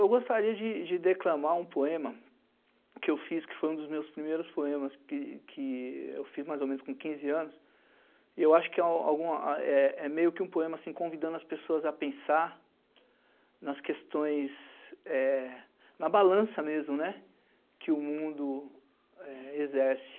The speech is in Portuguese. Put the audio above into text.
Eu gostaria de de declamar um poema que eu fiz, que foi um dos meus primeiros poemas, que que eu fiz mais ou menos com quinze anos, e eu acho que alguma a é meio que um poema convidando as pessoas a pensar nas questões, é... Na balança mesmo, que o mundo é exerce.